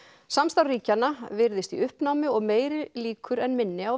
samstarf ríkjanna virðist í uppnámi og meiri líkur en minni á